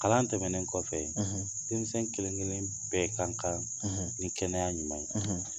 Kalan tɛmɛnen kɔfɛ denmisɛn kelen kelen bɛɛ ka kan ni kɛnɛya ɲuman ye